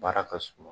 Baara ka suma